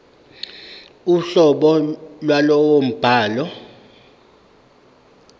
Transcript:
uhlobo lwalowo mbhalo